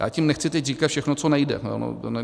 Já tím nechci teď říkat všechno, co nejde.